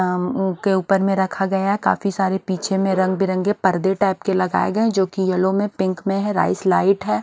उम्म ओ के ऊपर में रखा गया काफी सारे पीछे में रंग बिरंगे पर्दे टाइप के लगाए गए हैं जो कि येलो में पिंक में है राइस लाइट है।